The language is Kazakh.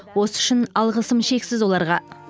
осы үшін алғысым шексіз оларға